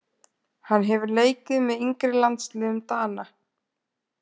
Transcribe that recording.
Hann hefur leikið með yngri landsliðum Dana.